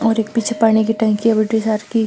और एक पीछे पानी की टंकी है बड़ी सार की।